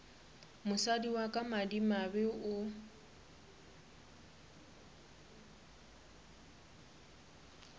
mosadi wa ka madimabe o